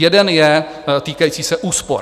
Jeden je týkající se úspor.